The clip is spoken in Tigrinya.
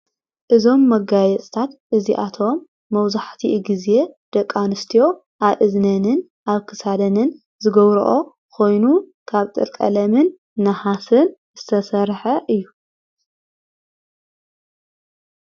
እዞም መጋየጽታት እዚኣቶም መውዙሕቲ ጊዜ ደቃንስትዮ ኣእዝነንን ኣብ ክሳደንን ዝገብርኦ ኾይኑ ካብ ጥርቀለምን ንሃስን ዝተሠርሐ እዩ።